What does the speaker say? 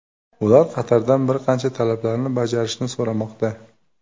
Ular Qatardan bir qancha talablarni bajarishni so‘ramoqda.